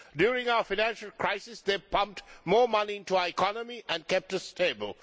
During our financial crisis it pumped more money into our economy and kept us stable.